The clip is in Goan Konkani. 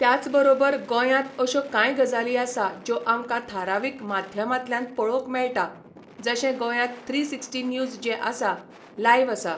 त्याच बरोबर गोंयांत अश्यो कांय गजाली आसा ज्यो आमकां थारावीक माध्यमांतल्यान पळोवंक मेळटा, जशें गोंयांत थ्री सिक्सटी न्यूज जें आसा, लायव्ह आसा.